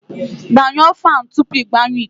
Gbanyụọ fan tupu ịgbanye ikuku